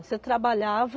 Você trabalhava...